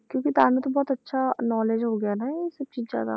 ਕਿਉਂਕਿ ਤੁਹਾਨੂੰ ਤੇ ਬਹੁਤ ਅੱਛਾ knowledge ਹੋ ਗਿਆ ਨਾ ਇਹ ਸਭ ਚੀਜ਼ਾਂ ਦਾ